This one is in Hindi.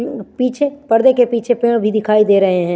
पिंग पीछे परदे के पीछे पेड़ भी दिखाई दे रहे है।